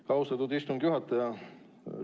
Aitäh, austatud istungi juhataja!